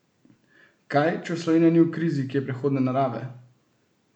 Kaj, če Slovenija ni v krizi, ki je prehodne narave?